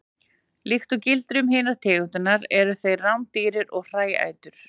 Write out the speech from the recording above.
Líkt og gildir um hinar tegundirnar eru þeir rándýr og hræætur.